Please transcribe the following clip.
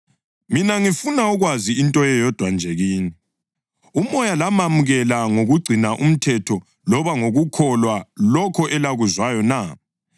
Mina ngifuna ukwazi into eyodwa nje kini: UMoya lamamukela ngokugcina umthetho loba ngokukholwa lokho elakuzwayo na?